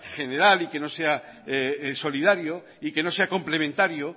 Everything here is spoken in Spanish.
general y que no sea solidario y que no sea complementario